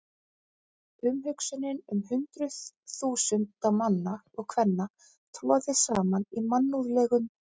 Umhugsunin um hundruð þúsunda manna og kvenna troðið saman í mannúðlegum